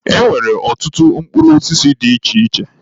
E nwere ọtụtụ mkpụrụ osisi dị iche iche.